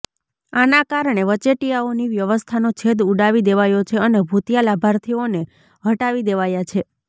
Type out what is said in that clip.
આના કારણે વચેટિયાઓની વ્યવસ્થાનો છેદ ઉડાવી દેવાયો છે અને ભૂતિયા લાભાર્થીઓને હટાવી દેવાયા છે